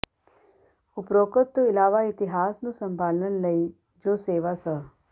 ਉਪਰੋਕਤ ਤੋਂ ਇਲਾਵਾ ਇਤਿਹਾਸ ਨੂੰ ਸੰਭਾਲਣ ਲਈ ਜੋ ਸੇਵਾ ਸ